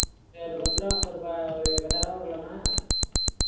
சேரி, ஒரு பத்து ருபா~ ஒரு பத்தாயிரம் ரூபாய் கொடுக்கலாமா